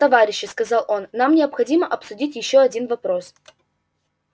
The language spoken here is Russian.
товарищи сказал он нам необходимо обсудить ещё один вопрос